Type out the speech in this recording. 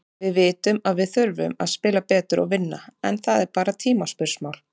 Við vitum að við þurfum að spila betur og vinna, en það er bara tímaspursmál.